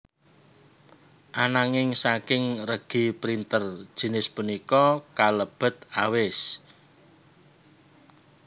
Ananging saking regi printer jinis punika kalebet awis